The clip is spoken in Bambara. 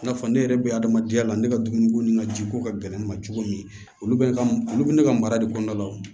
I n'a fɔ ne yɛrɛ bɛ adamadenya la ne ka dumuniko ni n ka jiko ka gɛlɛn ne ma cogo min olu bɛ ka olu bɛ ne ka mara de kɔnɔna la o